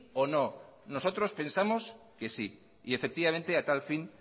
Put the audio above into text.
o no nosotros pensamos que sí y efectivamente a tal fin